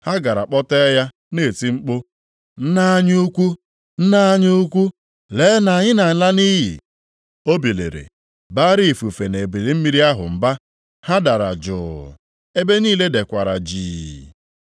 Ha gara kpọtee ya na-eti mkpu, “Nna anyị ukwu! Nna anyị ukwu! Lee na anyị nʼala nʼiyi!” O biliri, baara ifufe na ebili mmiri ahụ mba. Ha dara jụụ, ebe niile dekwara jii.